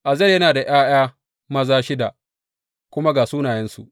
Azel yana da ’ya’ya maza shida, kuma ga sunayensu.